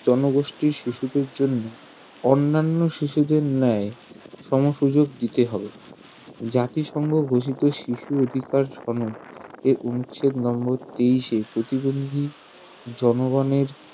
জনগোষ্ঠির শিশুদের জন্য অন্যান্য শিশুদের ন্যায় সম-সুযোগ দিতে হবে জাতিসংঘ ঘোষিত শিশু অধিকার সনদ এর অনুচ্ছেদ নম্বর তেইশে প্রতিবন্ধী জনগনের